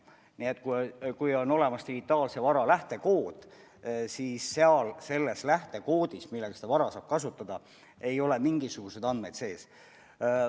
Nii et kui on olemas digitaalse vara lähtekood, siis selles lähtekoodis, mis võimaldab seda vara kasutada, ei ole mingisuguseid andmeid sees.